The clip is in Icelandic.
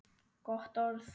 Gott orð.